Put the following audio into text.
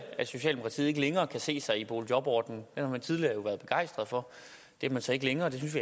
at socialdemokratiet ikke længere kan se sig selv i boligjobordningen den har tidligere været begejstret for det er man så ikke længere og det synes